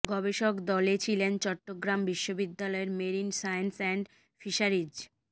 গবেষক দলে ছিলেন চট্টগ্রাম বিশ্ববিদ্যালয়ের মেরিন সায়েন্স অ্যান্ড ফিশারিজ